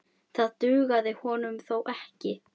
Það dugði honum þó ekki.